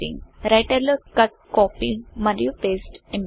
writer లో cut copy మరియు paste ఎంపికలు